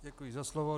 Děkuji za slovo.